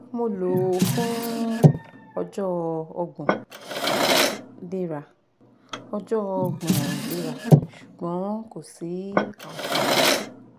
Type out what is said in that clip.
mo lo o fun ọjọ ogbon lera ọjọ ogbon lera ṣugbọn ko si anfani